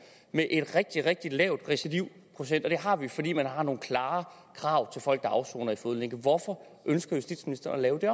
med en rigtig rigtig lav recidivprocent og det har vi fordi man har nogle klare krav til folk der afsoner i fodlænke hvorfor ønsker justitsministeren at lave det